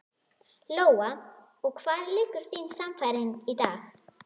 Lóa: Og hvar liggur þín sannfæring í dag?